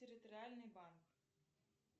территориальный банк